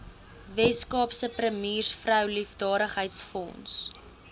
weskaapse premiersvrou liefdadigheidsfonds